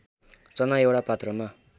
चना एउटा पात्रमा